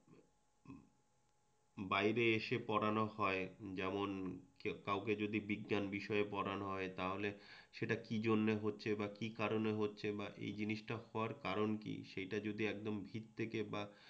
বাইরে এসে পড়ানো হয় যেমন কাউকে যদি বিজ্ঞান বিষয়ে পড়ানো হয় তাহলে সেটা কি জন্যে হচ্ছে বা কি কারণে হচ্ছে বা এই জিনিসটা হওয়ার কারণ কি সেইটা যদি একদম ভিত থেকে বা